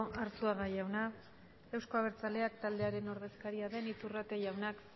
arsuaga jauna euzko abertzaleak taldearen ordezkaria den iturrate jaunak